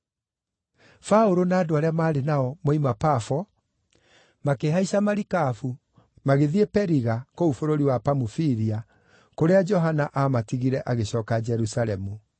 Paũlũ na andũ arĩa maarĩ nao, moima Pafo makĩhaica marikabu magĩthiĩ Periga kũu bũrũri wa Pamufilia, kũrĩa Johana aamatigire agĩcooka Jerusalemu.